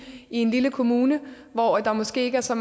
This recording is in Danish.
en lille kommune hvor der måske ikke er så